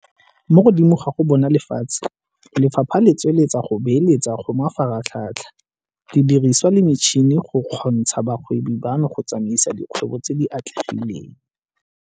Mo godimo ga go bona lefatshe, Lefapha le tswelela go beeletsa go mafaratlhatlha, didiriswa le metšhini go kgontsha bagwebi bano go tsamaisa dikgwebo tse di atlegileng.